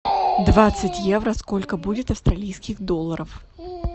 двадцать евро сколько будет австралийских долларов